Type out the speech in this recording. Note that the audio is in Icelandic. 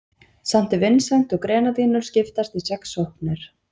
Sankti Vinsent og Grenadínur skiptast í sex sóknir.